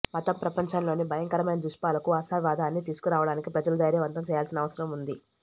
మతం ప్రపంచంలోని భయంకరమైన దుష్పాలకు ఆశావాదాన్ని తీసుకురావడానికి ప్రజల ధైర్యవంతం చేయాల్సిన అవసరం ఉంది